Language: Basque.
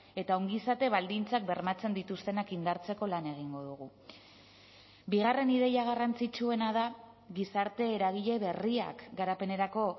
eta ongizate baldintzak bermatzen dituztenak indartzeko lan egingo dugu bigarren ideia garrantzitsuena da gizarte eragile berriak garapenerako